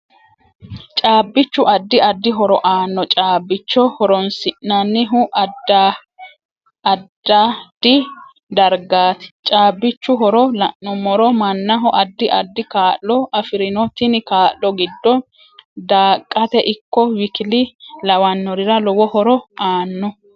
Caabichu addi addi horo aanno caabicho hooorosi'nanihu addaddi dargaati caabichu horo la'numoro mannaho addi addi kaa'lo afirinno tini kaa'lo gide daaqate ikko WKL lawanorira lowo horo aanno